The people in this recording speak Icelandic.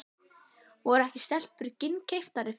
Voru ekki stelpur ginnkeyptari fyrir því?